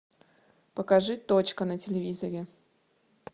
покажи точка на телевизоре